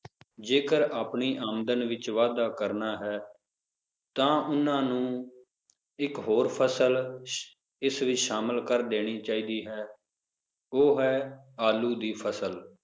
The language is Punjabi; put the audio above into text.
ਜੇਕਰ ਆਪਣੀ ਆਮਦਨ ਵਿਚ ਵਾਧਾ ਕਰਨਾ ਹੈ ਤਾ ਓਹਨਾ ਨੂੰ ਇੱਕ ਹੋਰ ਫਸਲ ਇਸ ਵਿਚ ਸ਼ਾਮਲ ਕਰ ਦੇਣੀ ਚਾਹੀਦੀ ਹੈ ਉਹ ਹੈ ਆਲੂ ਦੀ ਫਸਲ,